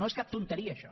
no és cap ximpleria això